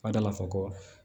Fa da la fɔ ko